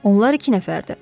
Onlar iki nəfərdir.